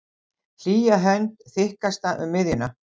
Hlýja hönd, þykkasta um miðjuna.